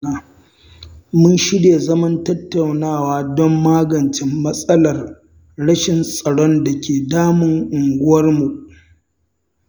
Mun shirya zaman tattaunawa don magance matsalar rashin tsaron da ke damun unguwarmu.